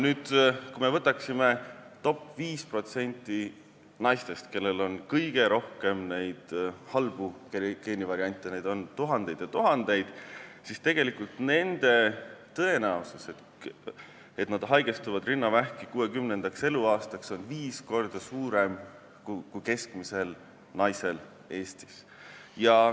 Kui me võtaksime nüüd 5% naistest, kellel on kõige rohkem neid halbu geenivariante – neid on tuhandeid ja tuhandeid –, siis tegelikult nende tõenäosus haigestuda rinnavähki 60. eluaastaks on viis korda suurem kui keskmisel naisel Eestis.